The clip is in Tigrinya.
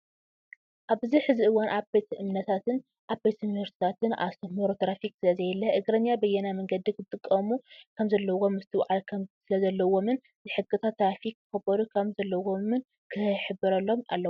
ኣብዚ ሕዚ እዋን ኣብ ቤተ እምነታትን ኣብ ቤት ትምህርቲታትን ኣስተምህሮ ትራፊክ ስለዘየለ እግረኛ ብየናይ መንገዲ ክጥቀሙ ከምዘለዎም ምስትውዓል ስለዘለዎምን ሕግታት ትራፊክ ከኽብሩ ከም ዘለዎምን ክህበረሎም ኣለዎ።